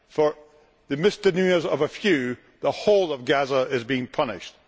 For the misdemeanours of a few, the whole of Gaza is being punished.